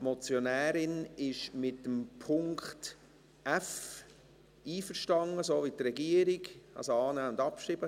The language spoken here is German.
Die Motionärin ist beim Punkt f so mit der Regierung einverstanden, also annehmen und abschreiben.